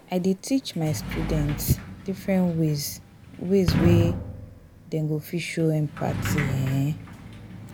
i dey teach my students different ways ways wey dem go fit show empathy. um